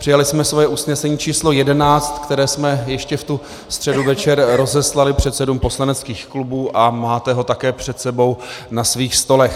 Přijali jsme svoje usnesení č. 11, které jsme ještě v tu středu večer rozeslali předsedům poslaneckých klubů, a máte ho také před sebou na svých stolech.